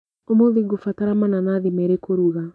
ũmũthĩ ngũbatara mananathi merĩ kũruga.